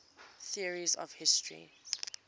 theories of history